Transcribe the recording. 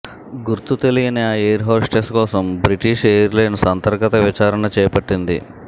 గుర్తు తెలియని ఆ ఎయిర్ హోస్టెస్ కోసం బ్రిటీష్ ఎయిర్లైన్స్ అంతర్గత విచారణ చేపట్టింది